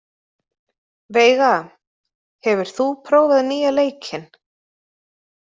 Veiga, hefur þú prófað nýja leikinn?